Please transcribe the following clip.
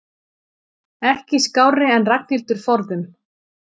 Ekki skárri en Ragnhildur forðum.